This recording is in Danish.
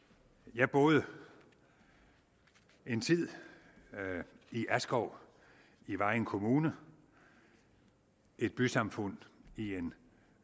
jeg boede en tid i askov i vejen kommune et bysamfund i en